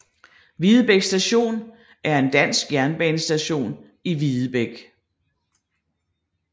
Videbæk Station var en dansk jernbanestation i Videbæk